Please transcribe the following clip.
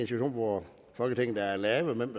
situation hvor folketinget er af lave når man